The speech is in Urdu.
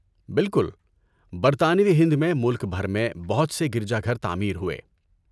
بالکل۔ برطانوی ہند میں ملک بھر میں بہت سے گرجا گھر تعمیر ہوئے۔